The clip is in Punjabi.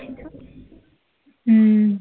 ਹੂੰ